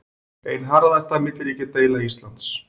Ein harðasta milliríkjadeila Íslands